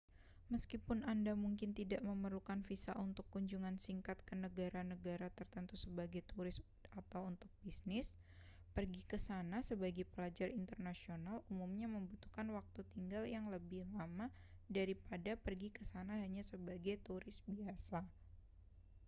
meskipun anda mungkin tidak memerlukan visa untuk kunjungan singkat ke negara-negara tertentu sebagai turis atau untuk bisnis pergi ke sana sebagai pelajar internasional umumnya membutuhkan waktu tinggal yang lebih lama daripada pergi ke sana hanya sebagai turis biasa